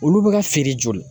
Olu bɛ ka feere joli?